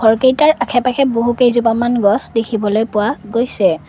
ঘৰকেইটাৰ আশে-পাশে বহু কেইজোপামান গছ দেখিবলৈ পোৱা গৈছে।